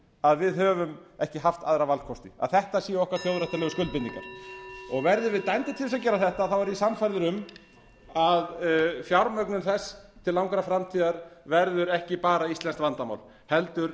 að við höfum ekki haft aðra valkosti að þetta séu okkar þjóðréttarlegu skuldbindingar verðum við dæmd til þess að gera þetta er ég sannfærður um að fjármögnun þess til langrar framtíðar verður ekki bara íslenskt vandamál heldur